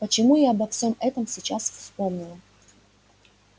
почему я обо всём этом сейчас вспомнила